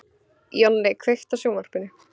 Jonni, kveiktu á sjónvarpinu.